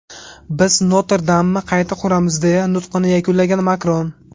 Biz Notr-Damni qayta quramiz”, deya nutqini yakunlagan Makron.